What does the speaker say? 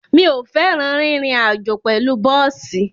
Mi ò fẹ́ràn rírin àjó pẹ̀lú bọ́ọ̀sì.